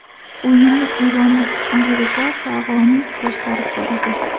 O‘yinni eronlik Alirizo Fag‘oniy boshqarib boradi.